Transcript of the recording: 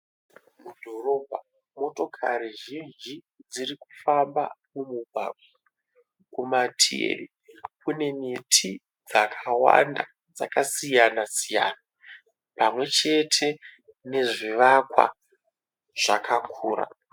Mudhorobha motokari zhinji dziri kufamba mumugwagwa. Kumativi kune miti dzakawanda dzakasiyana siyana pamwe chete nezvivakwa zvakakura.